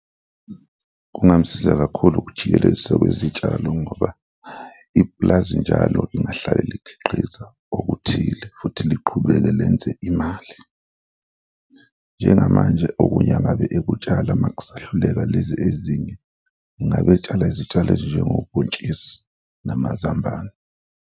Kungamsiza kakhulu ukujikeleziswa kwezitshalo ngoba ipulazi njalo lingahlale likhiqiza okuthile futhi liqhubeke lenze imali. Njengamanje okunye angabe ekutshala makusahluleka lezi ezinye, ngabe etshala izitshalo ezinjengobhontshisi namazambane.